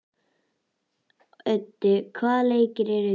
Öddi, hvaða leikir eru í kvöld?